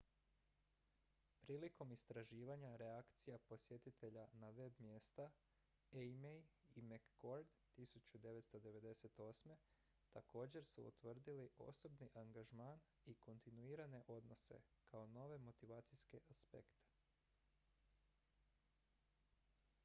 "prilikom istraživanja reakcija posjetitelja na web-mjesta eighmey i mccord 1998. također su utvrdili "osobni angažman" i "kontinuirane odnose" kao nove motivacijske aspekte.